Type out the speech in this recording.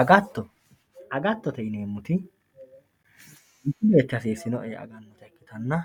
agatto agattote yineemoti manchu beetti hasiisino"e yee agannota ikkitanna